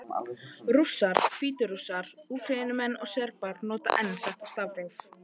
Rússar, Hvítrússar, Úkraínumenn og Serbar nota enn þetta stafróf.